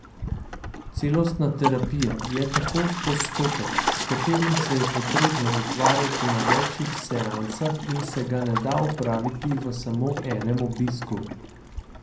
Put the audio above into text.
Celostna terapija je tako postopek, s katerim se je potrebno ukvarjati na večih seansah in se ga ne da opraviti v samo enem obisku!